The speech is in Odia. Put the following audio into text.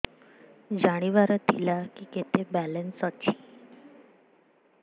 ଜାଣିବାର ଥିଲା କି କେତେ ବାଲାନ୍ସ ଅଛି